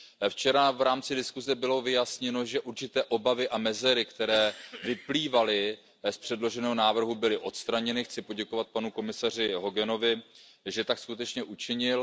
Včera bylo v rámci diskuse vyjasněno, že určité obavy a mezery, které vyplývaly z předloženého návrhu, byly odstraněny. Chci poděkovat panu komisaři Hoganovi, že tak skutečně učinil.